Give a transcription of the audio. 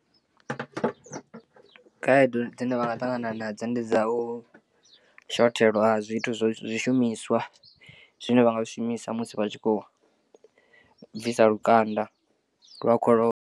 Khaedu dzine vha nga ṱangana nadzo ndi dza u shothelwa ha zwithu zwishumiswa zwine vha nga zwi shumisa musi vha tshi khou bvisa lukanda lwa kholomo.